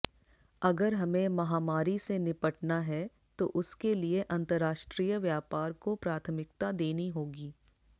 अगर हमें महामारी से निपटना है तो उसके लिए अंतरराष्ट्रीय व्यापार को प्राथमिकता देनी होगी